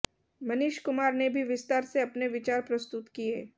मनीष कुमार ने भी विस्तार से अपने विचार प्रस्तुत किये